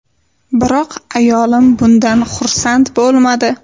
Biroq ayolim bundan xursand bo‘lmadi.